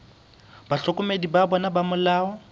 bahlokomedi ba bona ba molao